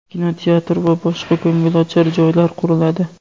kinoteatr va boshqa ko‘ngilochar joylar quriladi.